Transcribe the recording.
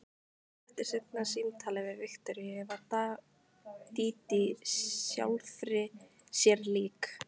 Eftir seinna símtalið við Viktoríu varð Dídí sjálfri sér lík.